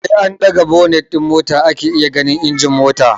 Sai an ɗaga bonit din mota ake iya ganin injin mota